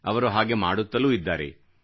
ಅವರು ಹಾಗೆ ಮಾಡುತ್ತಲೂ ಇದ್ದಾರೆ